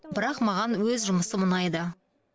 бірақ маған өз жұмысым ұнайды